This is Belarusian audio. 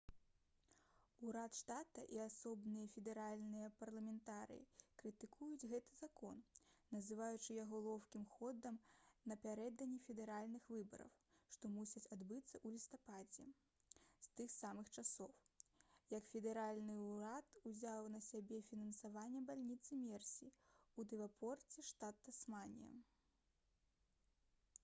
урад штата і асобныя федэральныя парламентарыі крытыкуюць гэты закон называючы яго лоўкім ходам напярэдадні федэральных выбараў што мусяць адбыцца ў лістападзе з тых самых часоў як федэральны ўрад узяў на сябе фінансаванне бальніцы мерсі ў дэвонпорце штат тасманія